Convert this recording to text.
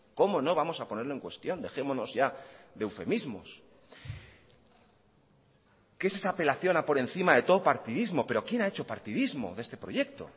cómo no vamos a ponerlo en cuestión dejémonos ya de eufemismos qué es esa apelación a por encima de todo partidismo pero quién ha hecho partidismo de este proyecto